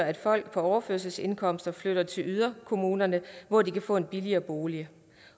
at folk på overførselsindkomster flytter til yderkommunerne hvor de kan få en billigere bolig